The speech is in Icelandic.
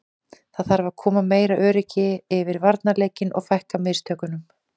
Það þarf að koma meira öryggi yfir varnarleikinn og fækka mistökunum.